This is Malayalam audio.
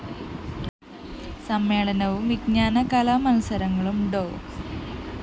സമ്മേളനവും വിജ്ഞാന കലാ മത്സരങ്ങളും ഡോ